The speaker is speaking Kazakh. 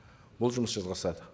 бұл жұмыс жалғасады